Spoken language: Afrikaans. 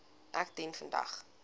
ek dien vandag